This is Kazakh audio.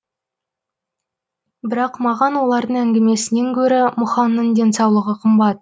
бірақ маған олардың әңгімесінен гөрі мұхаңның денсаулығы қымбат